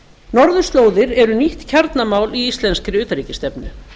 norðurslóðir eru nýtt kjarnamál í íslenskri utanríkisstefnu